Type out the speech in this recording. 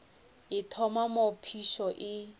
e thoma moo phišo e